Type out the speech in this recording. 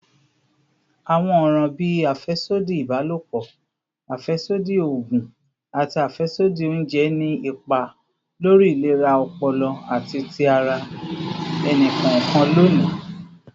Awọn ọran bii afẹsodi ibalopọ, afẹsodi oogun, ati afẹsodi ounjẹ ni ipa lori ilera ọpọlọ ati ti ara ẹni kọọkan loni.